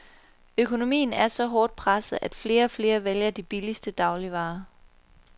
Økonomien er så hårdt presset, at flere og flere vælger de billigste dagligvarer.